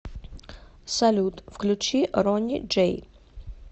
салют включи ронни джей